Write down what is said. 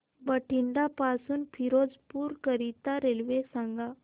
बठिंडा पासून फिरोजपुर करीता रेल्वे सांगा